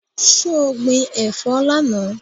So gbin ẹ̀fọ́ lánàá?